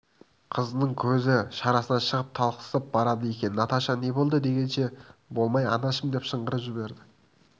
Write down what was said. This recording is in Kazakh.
қызының көзі шарасынан шығып талықсып барады екен наташа не болды дегенше болмай анашым деп шыңғырып жіберді